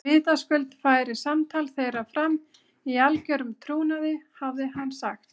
Vitaskuld færi samtal þeirra fram í algerum trúnaði, hafði hann sagt.